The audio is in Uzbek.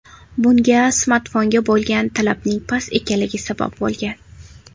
Bunga smartfonga bo‘lgan talabning past ekanligi sabab bo‘lgan.